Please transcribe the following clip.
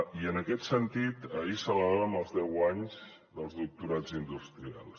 i en aquest sentit ahir celebràvem els deu anys dels doctorats industrials